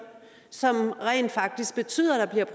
som rent faktisk betyder at der bliver